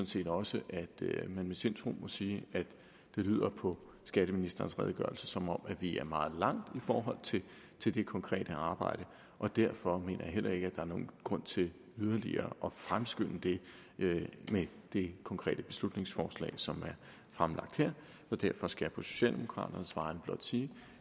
set også at man med sindsro kan sige at det lyder på skatteministerens redegørelse som om vi er meget langt i forhold til det konkrete arbejde og derfor mener jeg heller ikke er nogen grund til yderligere at fremskynde det med det konkrete beslutningsforslag som er fremlagt her derfor skal jeg på socialdemokraternes vegne blot sige